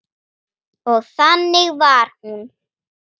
Minning þín mun ætíð lifa.